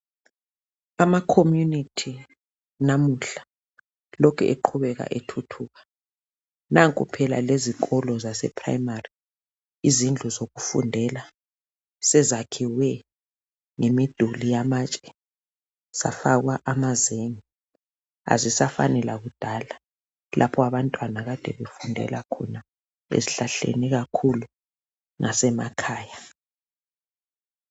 Amacommunity namuhla lokhu eqhubeka ethuthuka. Nanku phela lezikolo zaseprimary, izindlu zokufundela, sezakhiwe ngemiduli yamatshe. Zafakwa amazenge. Azisafani lakudala. Lapho abantwana, akade befundela khona esihlahleni. Ikakhulu emakhaya.